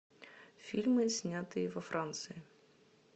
фильмы снятые во франции